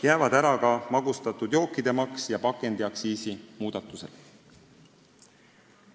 Jäävad ära ka magustatud jookide maks ja pakendiaktsiisi muudatused.